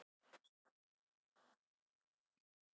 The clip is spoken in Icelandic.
Daði blátt áfram stóð í blóma og át og drakk sem aldrei fyrr.